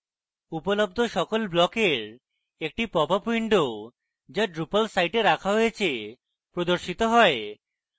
উপলব্ধ সকল ব্লকের একটি popup window যা drupal site রাখা হয়েছে প্রদর্শিত হয়